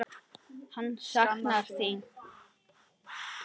Hann saknar þín.